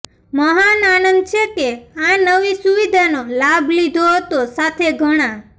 મહાન આનંદ છે કે આ નવી સુવિધાનો લાભ લીધો હતો સાથે ઘણા